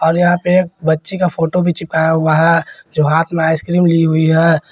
और यहां पे एक बच्ची का फोटो भी चिपकाया हुआ है जो हाथ में आइसक्रीम ली हुई है।